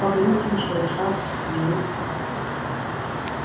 поблёкли шелушатся смеются